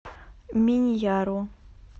миньяру